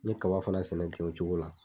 N ye kaba fana sɛnɛ kɛ o cogo la.